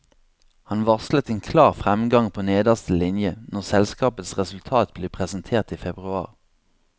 Han varslet en klar fremgang på nederste linje når selskapets resultat blir presentert i februar.